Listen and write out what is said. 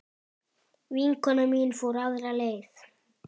Vinkona mín fór aðra leið.